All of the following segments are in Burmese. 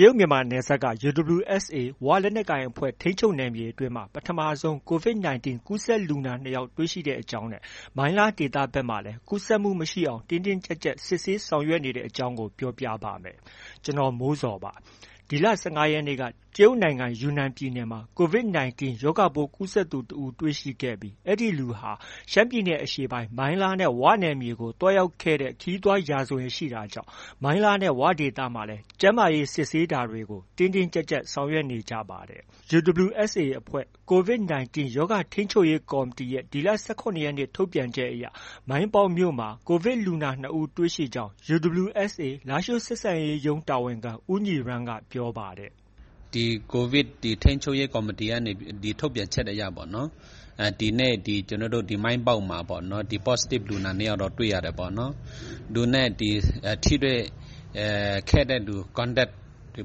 ရုတ်မြန်မာနယ်စပ်က UWSA ဝလက်နက်ကိုင်အဖွဲ့ ထိန်းချုပ်နယ်မြေအတွင်းမှာ ပထမဆုံး Covid 19 ကူးစက်လူနာ ၂ယောက်တွေ့ရှိတဲ့အကြောင်း နဲ့ မိုင်းလားဒေသဘက်မှာလည်း ကူးစက်မှုမရှိအောင် တင်းတင်းကျပ်ကျပ် စစ်ဆေးဆောင်ရွက်နေတဲ့ အကြောင်း VOA မြန်မာပိုင်းသတင်းထောက် ကိုမိုးဇော် တင်ပြထားပါတယ်။ ဒီလ ၁၅ ရက်နေ့က တရုတ်နိုင်ငံ ယူနန်ပြည်နယ်မှာ Covid 19 ရောဂါပိုးကူးစက်သူ တွေ့ရှိခဲ့ပြီး အဲဒီလူဟာ ရှမ်းပြည်နယ်အရှေ့ပိုင်း မိုင်းလားနဲ့ ဝနယ်မြေကို သွားရောက်ခဲ့တဲ့ ခရီးသွား ရာဇဝင်ရှိတာကြောင့် မိုင်းလားနဲ့ ဝဒေသတွေမှာ ကျန်းမာရေးစစ်ဆေးတာတွေကို တင်းတင်းကျပ်ကျပ် ဆောင်ရွက်နေကြပါတယ်။ UWSA အဖွဲ့ Covid 19 ရောဂါထိန်းချုပ်ရေးကော်မတီရဲ့ ဒီလ ၁၇ ရက်နေ့ ထုတ်ပြန်ချက်အရ မိုင်းပေါက်မြို့မှာ ကိုဗစ်လူနာ ၂ဦးတွေ့ရှိကြောင်း UWSA လားရှိုးဆက်ဆံရေးရုံး တာဝန်ခံ ဦးညီရန်းက ပြောပါတယ်။ “ဒီ Covid ထိန်းချုပ်ရေးကော်မတီထုတ်ပြန်ချက်အရပေါ့နော်၊ ဒီကျနော်တို့ မိုင်းပေါက်မှာပေါ့ ဒီ Positive လူနာ ၂ယောက်တော့ တွေ့ရတယ်ပေါ့နော်။ သူနဲ့ ထိတွေ့ခဲ့တဲ့လူ Contact တွေ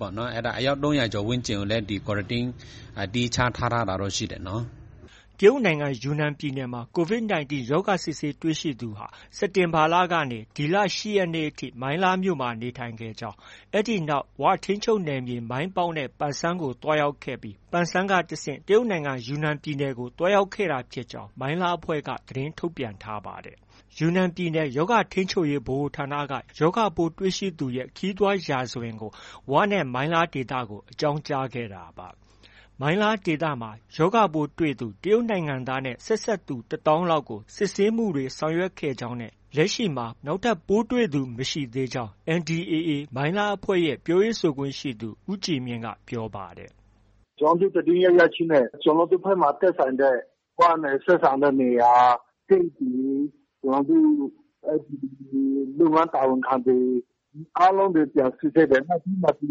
ပေါ့နော် အဲဒါ အယောက် ၃၀၀ကျော်ကိုလည်း Quarantine သီးခြားထားထားတာတော့ ရှိတယ်နော်။” တရုတ်နိုင်ငံ ယူနန်ပြည်နယ်မှာ Covid 19 ရောဂါစစ်ဆေးတွေ့ရှိသူဟာ စက်တင်ဘာလကနေ ဒီလ ၈ ရက်နေ့အထိ မိုင်းလားမြို့မှာ နေထိုင်ခဲ့ကြောင်း၊ အဲဒီနောက်မှာ ဝထိန်းချုပ်နယ်မြေ မိုင်းပေါက်နဲ့ ပန်ဆန်းမြို့ကို သွားရောက်ခဲ့ပြီး ပန်ဆန်းကတဆင့် တရုတ်နိုင်ငံ ယူနန်ပြည်နယ်ကို သွားရောက်ခဲ့တာဖြစ်ကြောင်း မိုင်းလားအဖွဲ့က သတင်းထုတ်ပြန်ပါတယ်။ ယူနန်ပြည်နယ် ရောဂါထိန်းချုပ်ရေးဗဟိုဌာနက ရောဂါပိုးတွေ့ရှိသူရဲ့ ခရီးသွားရာဇဝင်ကို ဝနဲ့ မိုင်းလားဒေသကို အကြောင်းကြားခဲ့တာပါ။ မိုင်းလားဒေသမှာ ရောဂါပိုးတွေ့သူ တရုတ်နိုင်ငံသားနဲ့ ဆက်စပ်သူ ၁သောင်းလောက်ကို စစ်ဆေးမှုတွေ ဆောင်ရွက်ခဲ့ကြောင်းနဲ့ လက်ရှိမှာ နောက်ထပ် ပိုးတွေ့သူမရှိသေးကြောင်း NDAA မိုင်းလားအဖွဲ့ရဲ့ ပြောရေးဆိုခွင့်ရှိသူ ဦးကြည်မြင့်က ပြောပါတယ်။ “ကျနော်တို့ သတင်းရရခြင်းပဲ ကျနော်တို့ဘက်မှာ သက်ဆိုင်တဲ့ ဝနဲ့ သက်ဆိုင်တဲ့နေရာ၊ တရုတ်ပြည် ကျနော်တို့ လုပ်ငန်းတာဝန်ခံတွေ အားလုံးကို ပြန်စစ်ဆေးတယ်။ နောက်ပြီးမှ ဒီ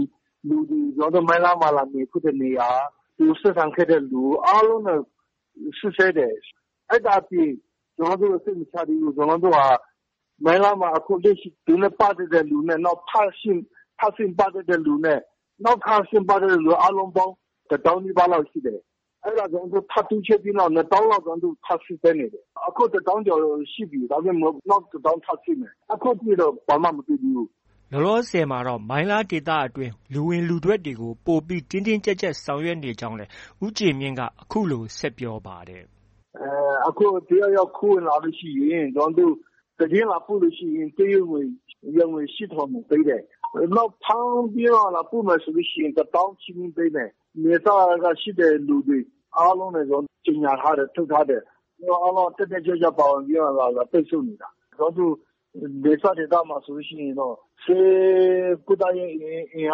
ကျနော်တို့ မိုင်းလားမှာ လာနေဖူးတဲ့နေရာ၊ ဆက်ဆံခဲ့တဲ့လူ အားလုံးနဲ့ စစ်ဆေးတယ်။ အဲဒါပြင် ကျနော်တို့ စိတ်မချသေးဘူး။ ကျနော်တို့ဟာ မိုင်းလားမှာ သူနဲ့ ပတ်သက်တဲ့သူနဲ့ ထပ်ဆင့် ပတ်သက်တဲ့လူနဲ့ နောက် ထပ် ထပ်ဆင့် ပတ်သက်တဲ့လူနဲ့ အားလုံးပေါင်း တစ်သောင်းနီးပါးလောက်ရှိတယ်။ အဲဒါ တိုးချဲ့ပြီးမှ နှစ်သောင်းလောက် ကျနော်တို့ ထပ်စစ်ဆေးနေတယ်။ အခု တစ်သောင်းကျော်ရှိပြီ နောက်တစ်သောင်းထပ်စစ်မယ်။ အခုထိတော့ ဘာမှ မတွေ့သေးဘူး။ ” လောလောဆည်မှာတော့ မိုင်းလားဒေသအတွင်း လူဝင်လူထွက်တွေကို ပိုပြီး တင်းတင်းကျပ်ကျပ်ဆောင်ရွက်နေကြောင်းလည်း ဦးကြည်မြင့်က အခုလို ဆက်ပြောပါတယ်။ “ တစ်ယောက်ယောက် ခိုးဝင်လာလို့ရှိရင် သတင်းလာပို့လို့ရှိရင် ကျနော်တို့ တရုတ်ငွေ ယွမ်ငွေ ၈ထောင်ပေးမယ်။ နောက်ပြီးမှ ဖမ်းပြီး လာပို့ပေးမယ်ဆိုရင် ၁သောင်းချီးမြှင့်ပေးမယ်။ နယ်စပ်က ရှိတဲ့လူတွေအားလုံးနဲ့ ကြေညာထားတယ်။ ထုတ်ထားတယ်။ အားလုံးက တက်တက်ကြွကြွပါဝင်ပြီးမှ ပိတ်ဆို့နေတာ။ ကျနော်တို့ နယ်စပ်ဒေသမှာ ဆိုလို့ရှိရင်တော့ ကျနော်တို့ ကုသရေးအင်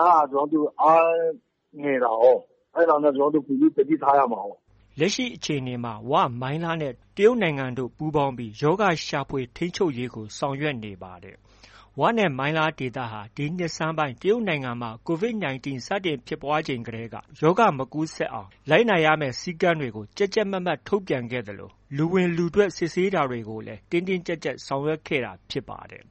အားက အားငယ်တာကိုး။ အဲဒါနဲ့ ပိုပြီး သတိထားရမှာကိုး။ ” လောလောဆည်မှာတော့ ဝ၊ မိုင်းလားနဲ့ တရုတ်နိုင်ငံတို့ ပူးပေါင်းပြီး ရောဂါရှာဖွေ၊ ထိန်းချုပ်ရေးကို ဆောင်ရွက်နေပါတယ်။ဝနဲ့ မိုင်းလားဒေသဟာ ဒီနှစ်ဆန်းပိုင်း တရုတ်နိုင်ငံမှာ Covid 19 စတင်ဖြစ်ပွားချိန်တည်းက ရောဂါမကူးစက်အောင် လိုက်နာရမယ့် စည်းကမ်းတွေကို ကြပ်ကြပ်မတ်မတ်ထုတ်ပြန်ခဲ့သလို လူဝင်လူထွက်စစ်ဆေးတာတွေကိုလည်း တင်းတင်းကျပ်ကျပ်ဆောင်ရွက်ခဲ့တာဖြစ်ပါတယ်